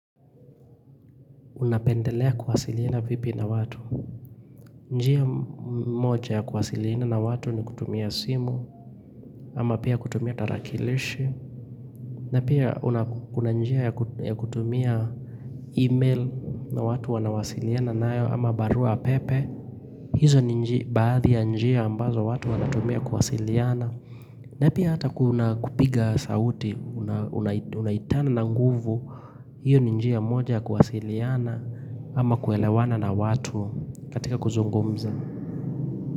Unapendelea kuwasiliana vipi na watu. Njia moja kuwasiliana na watu ni kutumia simu, ama pia kutumia tarakilishi, na pia kuna njia ya kutumia email na watu wanawasiliana nayo, ama barua pepe, hizo ni baadhi ya njia ambazo watu wanatumia kuwasiliana. Napi hata kuna kupiga sauti, unaitana na nguvu, hiyo ninjia moja kuwasiliana ama kuelewana na watu katika kuzungumza.